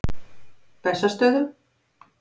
Bessastöðum